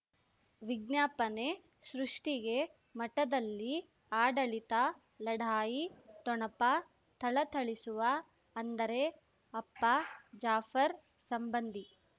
ವಿಜ್ಞಾಪನೆ ಸೃಷ್ಟಿಗೆ ಮಠದಲ್ಲಿ ಆಡಳಿತ ಲಢಾಯಿ ಠೊಣಪ ಥಳಥಳಿಸುವ ಅಂದರೆ ಅಪ್ಪ ಜಾಫರ್ ಸಂಬಂಧಿ